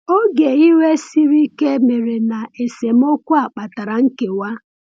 “Oge iwe siri ike” mere, na esemokwu a kpatara nkewa.